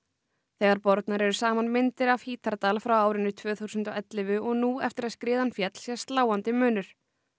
þegar bornar eru saman myndir af Hítardal frá árinu tvö þúsund og ellefu og nú eftir að skriðan féll sést sláandi munur